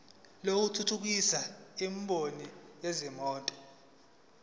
lokuthuthukisa imboni yezimoto